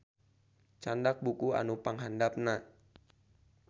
Candak buku anu panghandapna